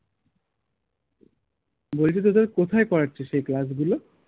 বলছি তো তুই কোথায় করাচ্ছিস এই class গুলো?